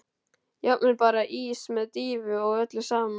Jafnvel bara ís með dýfu og öllu saman.